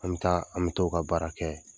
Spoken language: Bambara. An bɛ taa ,an bɛ taa o ka baara kɛ.